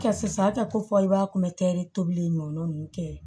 Kɛ sisan a tɛ ko fɔ i b'a kunbɛ tobili in ɲɔgɔn tɛ ye